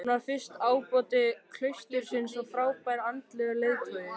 Hann varð fyrsti ábóti klaustursins og frábær andlegur leiðtogi.